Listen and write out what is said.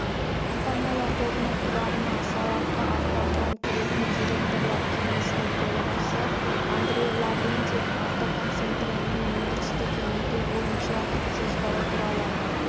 компаниялар тобының құрамына сарыарқа автопром кіретін директорлар кеңесінің төрағасы андрей лаврентьев автоконцерннің өндірісті кеңейту бойынша жоспары туралы